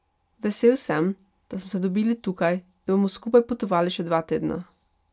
Vesel sem, da smo se dobili tukaj in da bomo skupaj potovali še dva tedna.